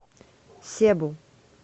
себу